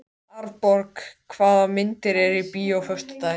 Farið þið bara til hans, segir